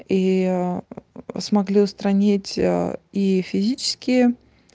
и смогли устранить и физически